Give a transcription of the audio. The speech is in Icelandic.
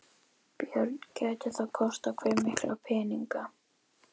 Björn: Gæti það kostað hve mikla peninga?